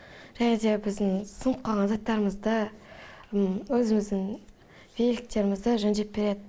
және де біздің сынып қалған заттарымызды өзіміздің великтерімізді жөндеп береді